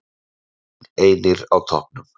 Valsmenn einir á toppnum